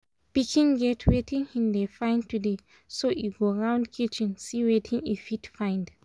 pikin get wetin hin dey find today e go round kitchen see wetin e fit find